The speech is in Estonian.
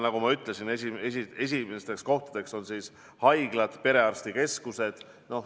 Nagu ma ütlesin, esimesed kohad on haiglad ja perearstikeskused.